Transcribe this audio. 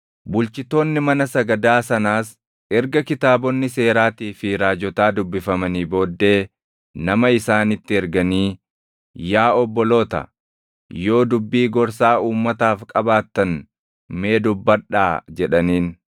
Bulchitoonni mana sagadaa sanaas erga kitaabonni Seeraatii fi Raajotaa dubbifamanii booddee nama isaanitti erganii, “Yaa obboloota, yoo dubbii gorsaa uummataaf qabaattan mee dubbadhaa” jedhaniin.